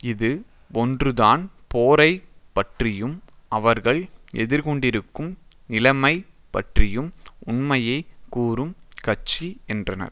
இது ஒன்றுதான் போரை பற்றியும் அவர்கள் எதிர்கொண்டிருக்கும் நிலைமை பற்றியும் உண்மையை கூறும் கட்சி என்றனர்